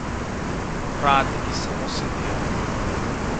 Uradniki samo sedijo!